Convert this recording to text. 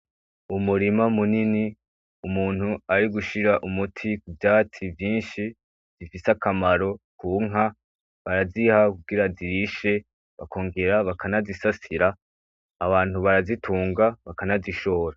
Umurima munini, umuntu arigushira umuti kuvyatsi vyinshi, bifise akamaro kunka baraziha kugira zirishe ,bakongera bakanazisasira, abantu barazitunga bakanazishora.